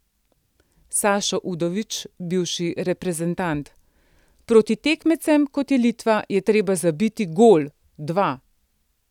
Sašo Udovič, bivši reprezentant: 'Proti tekmecem, kot je Litva, je treba zabiti gol, dva.